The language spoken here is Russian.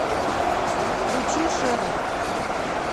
включи шерлок